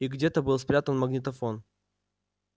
и где-то был спрятан магнитофон